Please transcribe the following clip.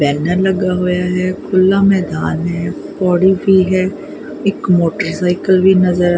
banner ਲਗਾ ਹੋਇਆ ਹੈ ਖੁੱਲ੍ਹਾ ਮੈਦਾਨ ਹੈ ਪੌੜੀ ਵੀ ਹੈ ਇਕ ਮੋਟਰ ਸਾਈਕਲ ਵੀ ਨਜ਼ਰ--